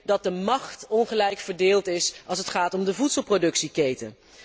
dat de macht ongelijk verdeeld is als het gaat om de voedselproductieketen.